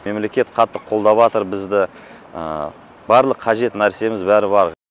мемлекет қатты қолдаватыр бізді барлық қажет нәрсеміз бәрі бар